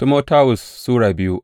daya Timoti Sura biyu